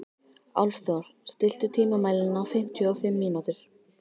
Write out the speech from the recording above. Álfþór, stilltu tímamælinn á fimmtíu og fimm mínútur.